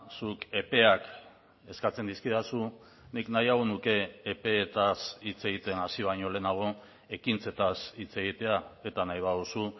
zuk epeak eskatzen dizkidazu nik nahiago nuke epeetaz hitz egiten hasi baino lehenago ekintzetaz hitz egitea eta nahi baduzu